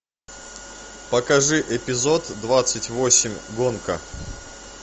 покажи эпизод двадцать восемь гонка